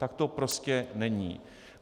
Tak to prostě není.